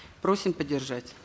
просим поддержать